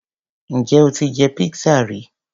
Ǹjẹ́ o ti jẹ pizza ri?